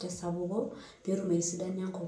tesapuko petum aitasapuka enkop.